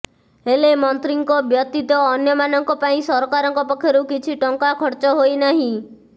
ହେଲେ ମନ୍ତ୍ରୀଙ୍କ ବ୍ୟତିତ ଅନ୍ୟମାନଙ୍କ ପାଇଁ ସରକାରଙ୍କ ପକ୍ଷରୁ କିଛି ଟଙ୍କା ଖର୍ଚ୍ଚ ହୋଇନାହିଁ